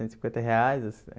Cento e cinquenta reais